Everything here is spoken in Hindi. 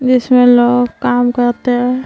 जिसमें लोग काम करते हैं।